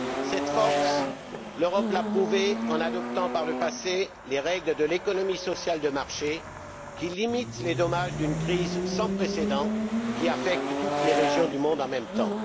Cette force, l'Europe l'a prouvée en adoptant, par le passé, les règles de l'économie sociale de marché, qui limite les dommages d'une crise sans précédent qui affecte toutes les régions du monde en même temps.